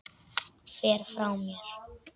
Fer frá mér.